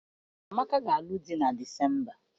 Amaka ga-alụ di na Disemba.